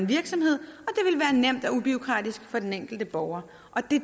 virksomhed og nemt og ubureaukratisk for den enkelte borger og